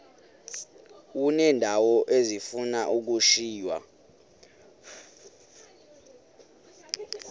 uneendawo ezifuna ukushiywa